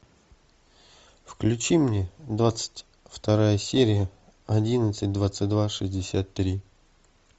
включи мне двадцать вторая серия одиннадцать двадцать два шестьдесят три